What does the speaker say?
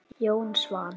Jón Svan.